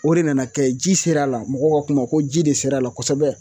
O de nana kɛ ji ser'a la mɔgɔw ga kuma ko ji de ser'a la kosɛbɛ